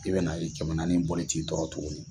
I bɛ na ye kɛmɛ naani bɔli t'i tɔɔrɔ tugunni.